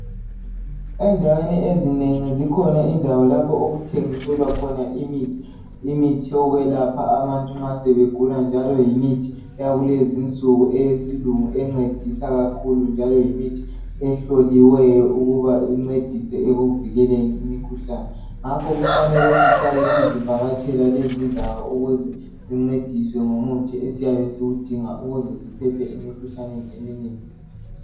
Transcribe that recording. Endaweni ezinengi zikhona indawo lapho okuthengiselwa khona imithi. Imithi yokwelapha abantu nxa sebegula njalo yimithi eyakulezinsuku eyesilungu encedisa kakhulu njalo yimithi ehloliweyo ukuba incedise ekuvikeleni imikhuhlane ngakho kufanele sihlale sizivakatshela lezi indawo ukuze sincediswe ngemithi esiyabe siyidinga ukuze siphephe emikhuhlaneni eminengi.